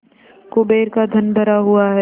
कुबेर का धन भरा हुआ है